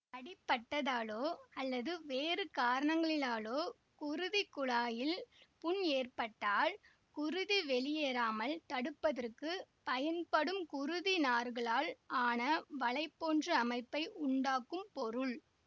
அடிபட்டதாலோ அல்லது வேறு காரணங்களிலாலோ குருதிக்குழாயில் புண் ஏற்பட்டால் குருதி வெளியேறாமல் தடுப்பதற்குப் பயன்படும் குருதிநார்களால் ஆன வலை போன்ற அமைப்பை உண்டாக்கும் பொருள்